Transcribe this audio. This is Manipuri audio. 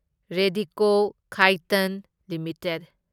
ꯔꯦꯗꯤꯀꯣ ꯈꯥꯢꯇꯟ ꯂꯤꯃꯤꯇꯦꯗ